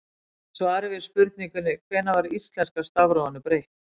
Í svari við spurningunni Hvenær var íslenska stafrófinu breytt?